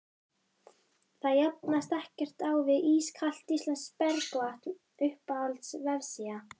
það jafnast ekkert á við ískalt íslenskt bergvatn Uppáhalds vefsíða?